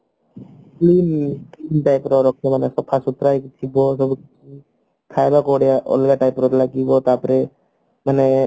ମାନେ ପୁରା ସଫାସୁତୁରା ହେଇକିରି ଥିବ କହିବାକୁ ବଢିଆ ଅଲଗା type ର ଲାଗିବ ତାପରେ ଉଁ